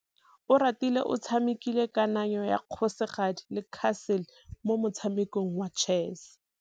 Oratile o tshamekile kananyô ya kgosigadi le khasêlê mo motshamekong wa chess.